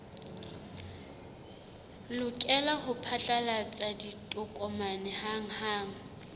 lokela ho phatlalatsa ditokomane hanghang